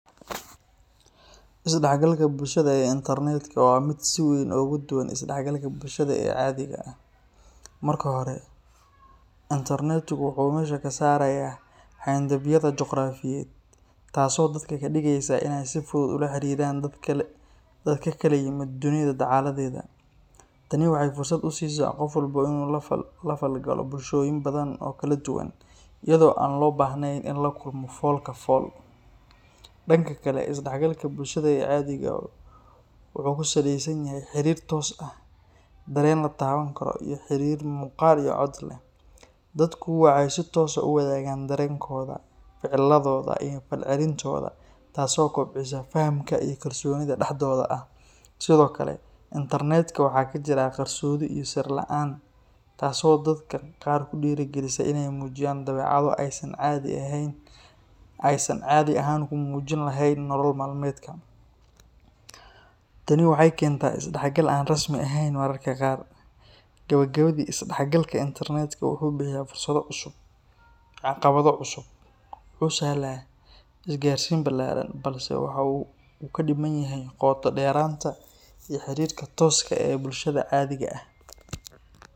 Is-dhexgalka bulshada ee internetka waa mid si weyn uga duwan is-dhexgalka bulshada ee caadiga ah. Marka hore, internetku wuxuu meesha ka saarayaa xayndaabyada juqraafiyeed, taasoo dadka ka dhigaysa inay si fudud ula xiriiraan dad ka kala yimid dunida dacaladeeda. Tani waxay fursad u siisaa qof walba inuu la falgalo bulshooyin badan oo kala duwan, iyadoo aan loo baahnayn in la kulmo fool-ka-fool. Dhanka kale, is-dhexgalka bulshada ee caadiga ah wuxuu ku salaysan yahay xiriir toos ah, dareen la taaban karo, iyo xidhiidh muuqaal iyo cod leh. Dadku waxay si toos ah u wadaagaan dareenkooda, ficiladooda, iyo falcelintooda, taasoo kobcisa fahamka iyo kalsoonida dhexdooda ah. Sidoo kale, internetka waxaa ka jira qarsoodi iyo sir la’aan, taasoo dadka qaar ku dhiirrigelisa inay muujiyaan dabeecado aysan caadi ahaan ku muujin lahayn nolol maalmeedka. Tani waxay keentaa is-dhexgal aan rasmi ahayn mararka qaar. Gabagabadii, is-dhexgalka internetka wuxuu bixiya fursado cusub iyo caqabado cusub; wuxuu sahlaa is-gaadhsiin ballaaran, balse waxa uu ka dhiman yahay qoto-dheeraanta iyo xiriirka tooska ah ee bulshada caadiga ah